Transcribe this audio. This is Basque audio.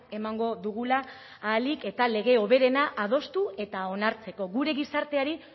emango dugula ahalik eta lege hoberena adostu eta onartzeko gure gizarteari